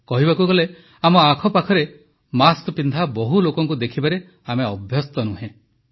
କହିବାକୁ ଗଲେ ଆମ ଆଖପାଖରେ ମାସ୍କପିନ୍ଧା ବହୁ ଲୋକଙ୍କୁ ଦେଖିବାରେ ଆମେ ଅଭ୍ୟସ୍ତ ନୁହଁ